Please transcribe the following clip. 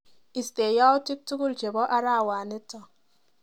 Istee yautik tukul chebo arawenito.